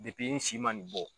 Depi si ma nin bɔ